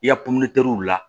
I ya pɛtɛri la